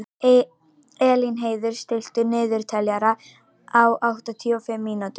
Elínheiður, stilltu niðurteljara á áttatíu og fimm mínútur.